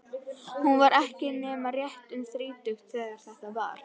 Hún var ekki nema rétt um þrítugt þegar þetta var.